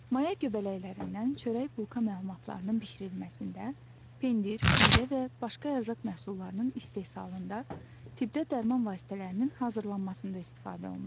Maya göbələklərindən çörək bulka məlumatlarının bişirilməsində, pendir, pivə və başqa ərzaq məhsullarının istehsalında, tibbdə dərman vasitələrinin hazırlanmasında istifadə olunur.